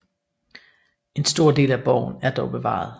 En stor del af borgen er dog bevaret